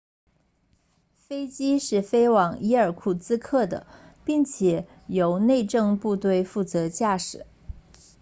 飞机是飞往伊尔库茨克 irkutsk 的并且由内政部队负责驾驶